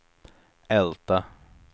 Älta